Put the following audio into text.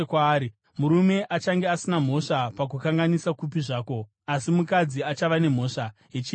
Murume achange asina mhosva pakukanganisa kupi zvako, asi mukadzi achava nemhosva yechivi chake.’ ”